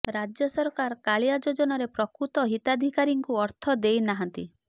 ରାଜ୍ୟ ସରକାର କାଳିଆ ଯୋଜନାରେ ପ୍ରକୃତ ହିତାଧିକାରୀଙ୍କୁ ଅର୍ଥ ଦେଇ ନାହାନ୍ତି